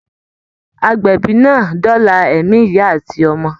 Àgbébì náà dọlà ẹ̀mi ìyá àti ọmọ.